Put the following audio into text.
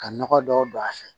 Ka nɔgɔ dɔw don a fɛ